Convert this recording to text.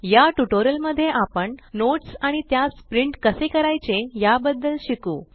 या ट्यूटोरियल मध्ये आपण नोट्स आणि त्यास प्रिंट कसे करायचे या बदद्ल शिकू